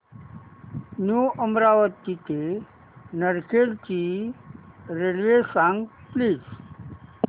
new Amravati ते नरखेड ची railway सांग प्लीज